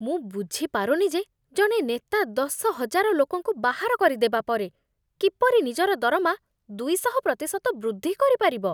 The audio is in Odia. ମୁଁ ବୁଝିପାରୁନି ଯେ ଜଣେ ନେତା ଦଶହଜାର ଲୋକଙ୍କୁ ବାହାର କରି ଦେବା ପରେ କିପରି ନିଜର ଦରମା ଦୁଇଶହ ପ୍ରତିଶତ ବୃଦ୍ଧି କରିପାରିବ।